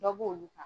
Dɔ b'olu kan